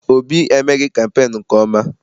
Obi emeghị kampeenu nke ọma.